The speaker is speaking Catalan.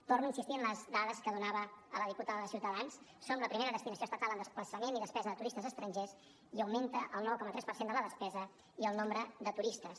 torno a insistir en les dades que donava a la diputada de ciutadans som la primera destinació estatal en desplaçament i despesa de turistes estrangers i augmenta el nou coma tres per cent de la despesa i el nombre de turistes